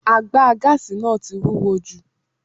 Àgbà gáàsì náà tí wúwo jù.